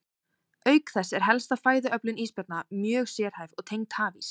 Auk þess er helsta fæðuöflun ísbjarna mjög sérhæfð og tengd hafís.